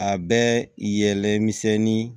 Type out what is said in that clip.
A bɛ yɛlɛ misɛnnin